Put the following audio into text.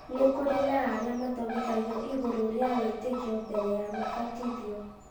nĩ kũrĩ na arĩa mathomithagio igũrũ rĩa wĩtĩkio mbere ya mabatithĩtio